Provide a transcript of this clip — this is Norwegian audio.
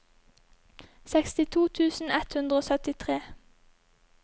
sekstito tusen ett hundre og syttitre